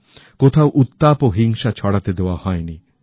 কোথাও উত্তাপও হিংসা ছড়াতে দেওয়া হয়নি